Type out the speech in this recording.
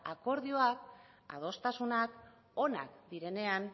akordioak adostasunak onak direnean